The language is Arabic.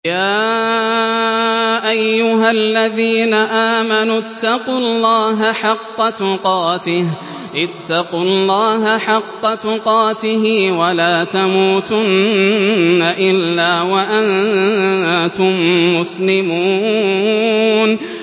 يَا أَيُّهَا الَّذِينَ آمَنُوا اتَّقُوا اللَّهَ حَقَّ تُقَاتِهِ وَلَا تَمُوتُنَّ إِلَّا وَأَنتُم مُّسْلِمُونَ